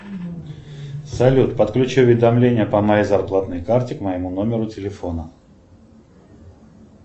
салют подключи уведомления по моей зарплатной карте к моему номеру телефона